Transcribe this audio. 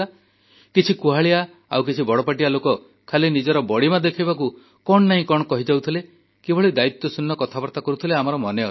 କିଛି କୁହାଳିଆ ଆଉ କିଛି ବଡ଼ପାଟିଆ ଲୋକ ଖାଲି ନିଜର ବଡ଼ିମା ଦେଖାଇବାକୁ କଣ ନାହିଁ କଣ କହିଯାଉଥିଲେ କିଭଳି ଦାୟିତ୍ୱଶୂନ୍ୟ କଥାବାର୍ତ୍ତା କରୁଥିଲେ ଆମର ମନେଅଛି